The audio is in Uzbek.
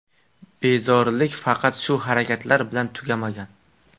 Bezorilik faqat shu harakatlar bilan tugamagan.